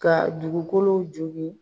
Ka dugukolo jogin.